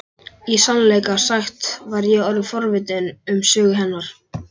Í sannleika sagt var ég orðin forvitin um sögu hennar.